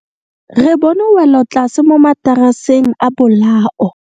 Re bone welotlase mo mataraseng a bolao.